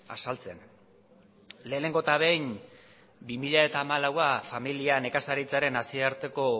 azaltzen lehenengo eta behin bi mila hamalaua familia nekazaritzaren nazioarteko